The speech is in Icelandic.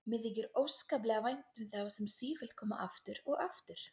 Mér þykir óskaplega vænt um þá sem sífellt koma aftur og aftur.